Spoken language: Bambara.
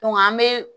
an bɛ